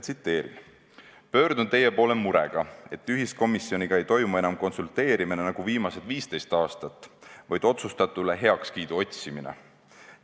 Tsiteerin: "Pöördun teie poole murega, et ühiskomisjoniga ei toimu enam konsulteerimine nagu viimased 15 aastat, vaid otsustatule heakskiidu otsimine.